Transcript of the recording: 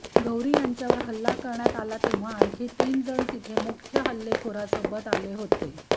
गौरी यांच्यावर हल्ला करण्यात आला तेव्हा आणखी तीन जण तिथे मुख्य हल्लेखोरासोबत आले होते